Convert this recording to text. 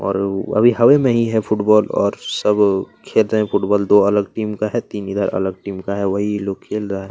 और हवा में ही है फुटबॉल और सब खेल रहे हैं सब फुटबॉल दो अलग टीम का है तीन इधर अलग टीम का है वही ये लोग खेल रहा हैं।